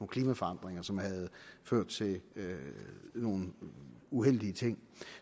klimaforandringer som havde ført til nogle uheldige ting